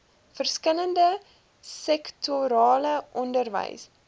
verskillende sektorale onderwys